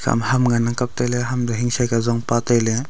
ima ham ngan ang kap tailey ham toh hingchei ka zon pa tailey.